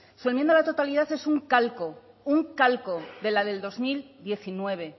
su enmienda a la totalidad es un calco un calco de la de dos mil diecinueve